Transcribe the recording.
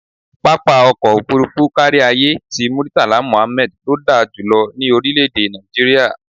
Pápá ọkọ̀ òfuurufú káríayé ti Murtala Muhammad ló da jù lọ ní orílẹ̀-èdè Nàìjíríà.